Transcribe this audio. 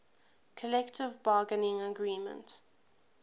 collective bargaining agreement